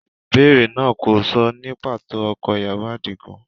Ìbéèrè náà kò sọ ní pàtó ọkọ ìyàwó Adigun.